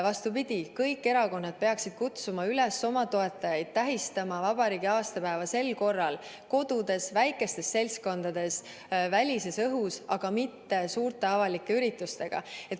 Vastupidi, kõik erakonnad peaksid oma toetajaid üles kutsuma tähistama vabariigi aastapäeva tänavu kodudes, väikestes seltskondades, välisõhus, aga mitte suurte avalike üritustega.